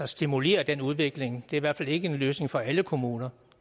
stimulere den udvikling er i hvert fald ikke en løsning for alle kommuner